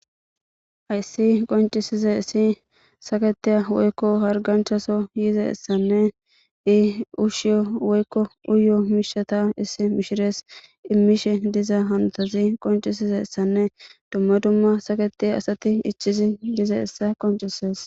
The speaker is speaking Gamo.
Hayssi qonccissidaysssi saketiya woykko hargganchchata yizayssanne iyo uushsha woykkoa uyiyo miishshata misirees immishe diza hanotazi qonccidi besizayssanne dumma dumma saketiya asati ichchizi dizayssa qocciseees.